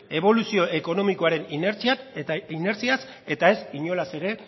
eboluzio ekonomikoaren inertziaz eta ez inolaz ere